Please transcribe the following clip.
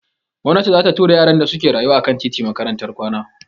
Gomnati za ta tura yaran da suke rayuwa a kan titi Makarantar kwana.